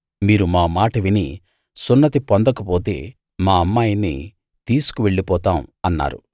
మీరు మా మాట విని సున్నతి పొందకపోతే మా అమ్మాయిని తీసుకు వెళ్ళిపోతాం అన్నారు